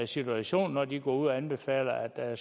situationen når de går ud og anbefaler at